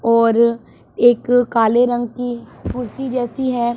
और एक काले रंग की कुर्सी जैसी है।